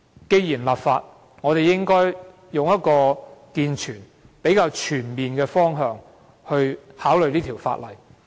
既然要立法，我們應從較健全及全面的方向考慮有關法例。